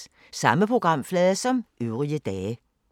Samme programflade som øvrige dage